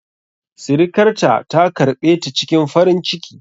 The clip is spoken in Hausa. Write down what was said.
Sirikarta ta karɓe ta cikin farin ciki.